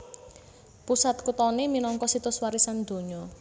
Pusat kuthané minangka Situs Warisan Donya